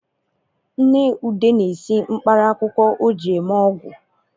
Nne ude na-esi mkparaakwụkwọ o ji eme ọgwu